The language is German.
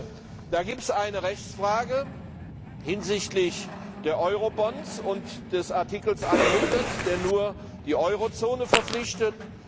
Hier gibt es eine Rechtsfrage hinsichtlich der Eurobons und des Artikels 100, der nur die Eurozone verpflichtet.